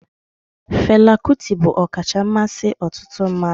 Fela Kuti bụ ọkacha mmasị ọtụtụ mmadụ